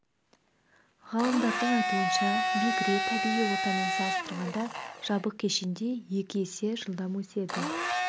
ғалымдардың айтуынша бекіре табиғи ортамен салыстырғанда жабық кешенде екі есе жылдам өседі